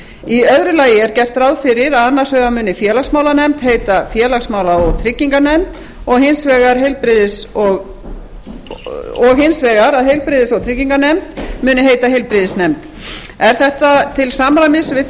í öðru lagi er gert ráð fyrir að annars vegar muni félagsmálanefnd heita félagsmála og trygginganefnd og hins vegar að heilbrigðis og trygginganefnd muni heita heilbrigðisnefnd er þetta til samræmis við þau